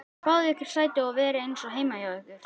Fáið ykkur sæti og verið eins og heima hjá ykkur!